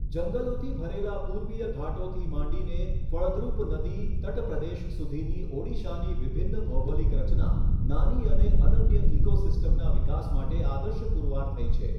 જંગલોથી ભરેલા પૂર્વીય ઘાટોથી માંડીને ફળદ્રુપ નદી તટપ્રદેશ સુધીની ઓડિશાની વિભિન્ન ભૌગોલિક રચના નાની અને અનન્ય ઇકોસિસ્ટમના વિકાસ માટે આદર્શ પુરવાર થઈ છે.